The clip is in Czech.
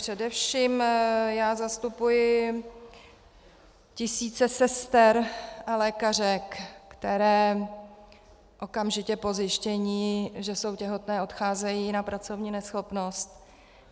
Především já zastupuji tisíce sester a lékařek, které okamžitě po zjištění, že jsou těhotné, odcházejí na pracovní neschopnost.